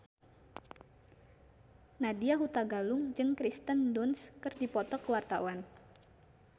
Nadya Hutagalung jeung Kirsten Dunst keur dipoto ku wartawan